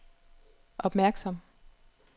opmærksom